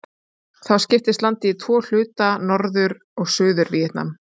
Þá skiptist landið í tvo hluta, Norður- og Suður-Víetnam.